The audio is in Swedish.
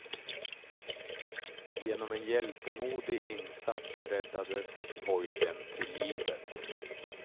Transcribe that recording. Genom en hjältemodig insats räddades pojken till livet.